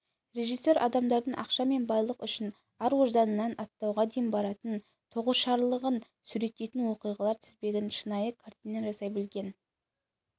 режиссер адамдардың ақша мен байлық үшін ар-ожданынан аттауға дейін баратын тоғышарлығын суреттейтін оқиғалар тізбегінен шынайы картина жасай білген